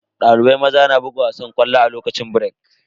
Dalibai maza na buga wasan ƙwallo a lokacin birek.